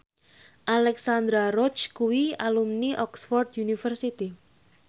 Alexandra Roach kuwi alumni Oxford university